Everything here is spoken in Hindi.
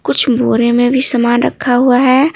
कुछ बोरे में भी सामान रखा हुआ है।